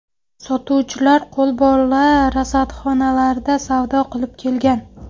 Sotuvchilar qo‘lbola rastalarda savdo qilib kelgan.